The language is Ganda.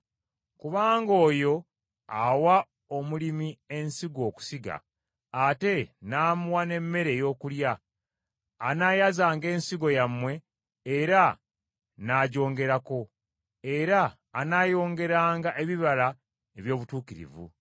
Kubanga oyo awa omulimi ensigo okusiga, ate n’amuwa n’emmere ey’okulya, anaayazanga ensigo yammwe era n’agyongerako, era anaayongeranga ebibala eby’obutuukirivu.